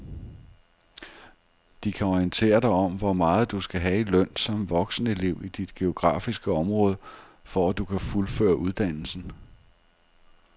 De kan orientere dig om hvor meget du skal have i løn som voksenelev i dit geografiske område, for at du kan fuldføre uddannelsen.